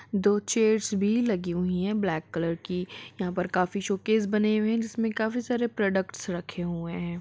दो चेयर्स भी लगी हुई हैं ब्लैक कलर की। यहाँ पर काफी शोकेस बने हुए हैं जिसमें काफी सारे प्रोडक्ट्स रखे हुए हैं।